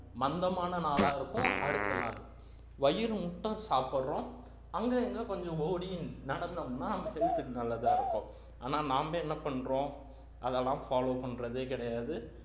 மந்தமான நாளாக இருக்கும் அடுத்த நாள் வயிறு முட்டம் சாப்பிடுறோம் அங்க இங்க கொஞ்சம் ஓடி நடந்தோம்ன்னா health க்கு நல்லதா இருக்கும் ஆனா நாம என்ன பண்றோம் அதலாம் follow பண்றதே கிடையாது